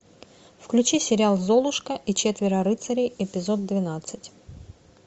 включи сериал золушка и четверо рыцарей эпизод двенадцать